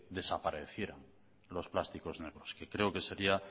desaparecieran los plásticos negros que creo que sería